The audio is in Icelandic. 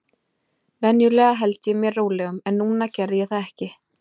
Venjulega held ég mér rólegum, en núna gerði ég það ekki.